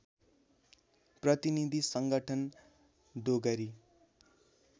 प्रतिनीधि संगठन डोगरी